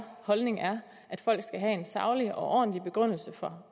holdning at folk skal have en saglig og ordentlig begrundelse for